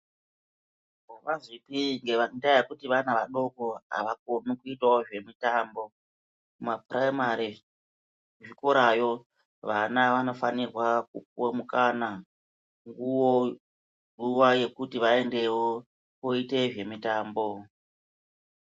Akuzwipi ngendaa yekuti vana vadoko avakoni kuitawo zvemitambo kupuraimari kuzvikorayo vana vanofanira kupuwe mukana nguwa yekuti vaendewo koite zvemitambo.